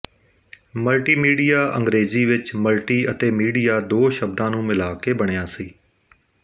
multimedia ਅੰਗਰੇਜ਼ੀ ਵਿੱਚ multi ਅਤੇ ਮੀਡੀਆ ਦੋ ਸ਼ਬਦਾਂ ਨੂੰ ਮਿਲਾ ਕੇ ਬਣਿਆ ਸੀ